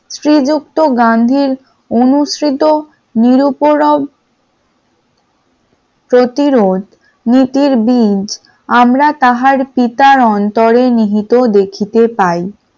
শ্রীযুক্ত গান্ধীর অনুসৃত নিরপরাধ প্রতিরোধ নীতির বীর আমরা তাহার পিতার অন্তরে নিহিত দেখিতে পাই ।